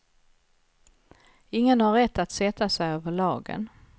Ingen har rätt att sätta sig över lagen.